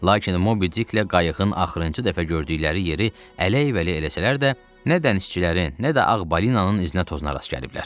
Lakin Mobi Diklə qayığın axırıncı dəfə gördükləri yeri ələy-vələy eləsələr də, nə dənizçilərin, nə də Ağ balinanın izinə-tozuna rast gəliblər.